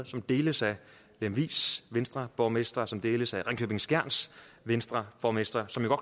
som deles af lemvigs venstreborgmester og som deles af ringkøbing skjerns venstreborgmester som jo